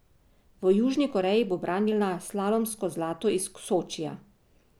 V Južni Koreji bo branila slalomsko zlato iz Sočija.